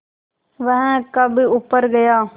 वह कब ऊपर गया